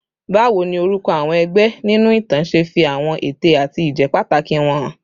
Báwo ni orúkọ àwọn ẹgbẹ́ nínú ìtàn ṣe fi àwọn ète àti ìjẹ́pàtàkì wọn hàn?